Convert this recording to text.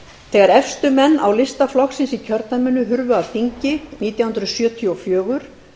þegar efstu menn á lista flokksins í kjördæminu hurfu af þingi nítján hundruð sjötíu og fjögur